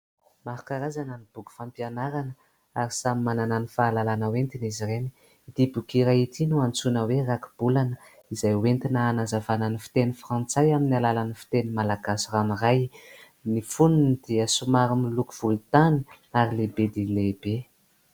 Maro karazana ny boky fampianarana ary samy manana ny fahalalana hoentiny izy ireny. Ity boki iray ity no antsiona hoe raki-bolana, izay entina hanazavana ny fiteny Frantsay amin'ny alalan'ny fiteny Malagazy ranoray. Ny foniny dia somary miloko volontany ary lehibe dia lehibe.